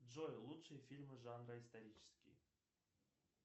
джой лучшие фильмы жанра исторические